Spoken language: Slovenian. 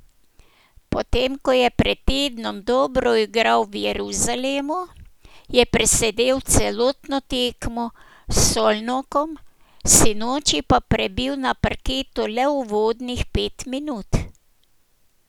Potem ko je pred tednom dobro igral v Jeruzalemu, je presedel celotno tekmo s Szolnokom, sinoči pa prebil na parketu le uvodnih pet minut.